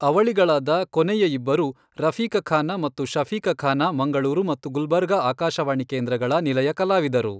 ಅವಳಿಗಳಾದ ಕೊನೆಯ ಇಬ್ಬರು ರಫೀಕಖಾನ ಮತ್ತು ಶಫೀಕಖಾನ ಮಂಗಳೂರು ಮತ್ತು ಗುಲಬರ್ಗಾ ಆಕಾಶವಾಣಿ ಕೇಂದ್ರಗಳ ನಿಲಯ ಕಲಾವಿದರು.